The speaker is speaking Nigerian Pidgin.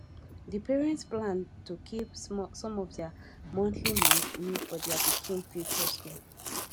di parents plan to keep some of their monthly money for their pikin future school